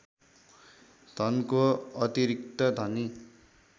धनको अतिरिक्त धनी